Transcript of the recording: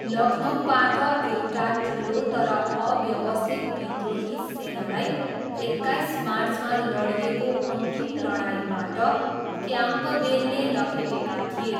लखनऊबाट एउटा ठुलो तर अव्यवस्थित विद्रोही सेनालाई एक्काइस मार्चमा लडिएको अन्तिम लडाइँबाट क्याम्पबेलले लखेटेका थिए।